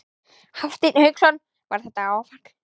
Hafsteinn Hauksson: Var þetta áfall?